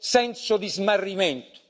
senso di smarrimento.